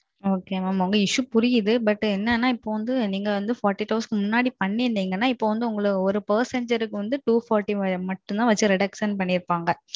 Ok ma'am உங்க Issue புரியுது But என்னனா நீங்க நாற்பத்து எட்டு மணிநேரத்துக்கு முன்னாடி பன்னிருதிங்க நா Per Person எரநூத்தி நாற்பது ரூபாய் மட்டும் Reduction பண்ணிருப்பாங்க.